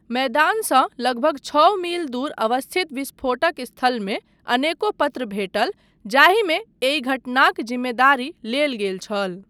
मैदानसँ लगभग छओ मील दूर अवस्थित विस्फोटक स्थलमे अनेको पत्र भेटल जाहिमे एहि घटनाक जिम्मेदारी लेल गेल छल।